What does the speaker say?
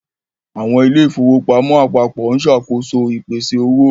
Àwọn ilé ìfowópamọ́ apapo ń ṣàkóso ìpèsè owó.